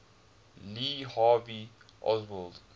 lee harvey oswald